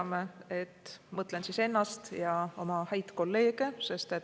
Ma mõtlen ennast ja oma häid kolleege.